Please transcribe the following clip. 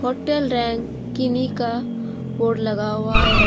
Hotel रैनकिनी का board लगा हुआ है।